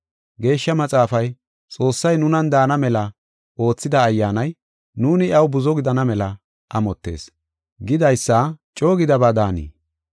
Geeshsha Maxaafay, “Xoossay nunan daana mela oothida Ayyaanay, nuuni iyaw buzo gidana mela amottees” gidaysa coo gidaba daanii?